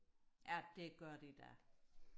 ja det gør de da